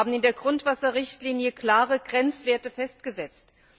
Wir haben in der Grundwasserrichtlinie klare Grenzwerte festgesetzt.